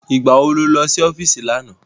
Ìgbá wo ló lọ sí ọ́fíìsì lánàá?